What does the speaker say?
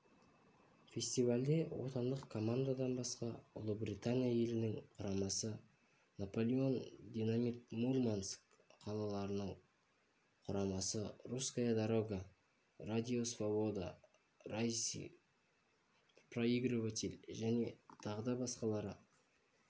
фестивальде отандық командадан басқа ұлыбритания елінің құрамасы наполеон динамит мурманск қаласының құрамасы русская дорога радио свобода раисы проигрыватель және тағы басқалары